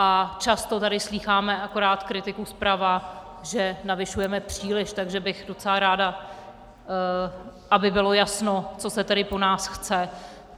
A často tady slýcháme akorát kritiku zprava, že navyšujeme příliš, takže bych docela ráda, aby bylo jasno, co se tedy po nás chce.